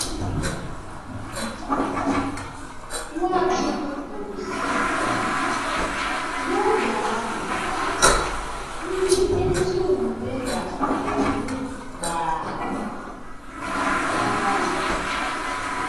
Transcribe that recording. Nwachukwu kwuru, sị: “N’oge ahụ, ndị ezi omume ga-enwu gbaa ka anyanwụ.”